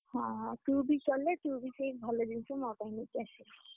ହଁ, ହଁ ତୁ ବି ଗଲେ, ତୁ ବି ସେଇ ଭଲ ଜିନିଷ ମୋ ପାଇଁ ନେଇକି ଆସିବୁ।